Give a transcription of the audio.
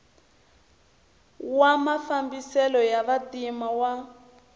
wa mafambiselo ya vantima wa